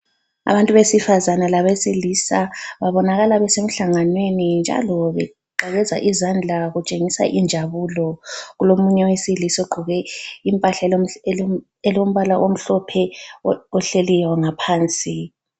Abantu besifazana labesilisa babonakala besemhlanganweni njalo beqakeza izandla kutshengisa injabulo. Kulomunye wesilisa ogqoke impahla olombala omhlophe ohleliyo ngaphansi.